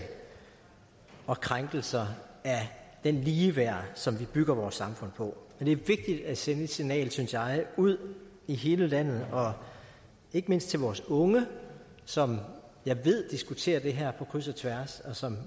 og krænkelser af det ligeværd som vi bygger vores samfund på så det er vigtigt at sende et signal synes jeg ud i hele landet og ikke mindst til vores unge som jeg ved diskuterer det her på kryds og tværs og som